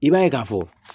I b'a ye k'a fɔ